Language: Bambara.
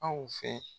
Aw fɛ